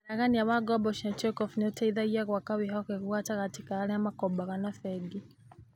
Waragania wa ngombo cia check-off nĩ ũteithagia gwaka wĩhokeku gatagatĩ ka arĩa makombaga na bengi.